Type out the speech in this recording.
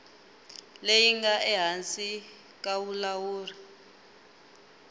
leyi nga ehansi ka vulawuri